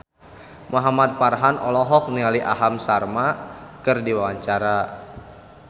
Muhamad Farhan olohok ningali Aham Sharma keur diwawancara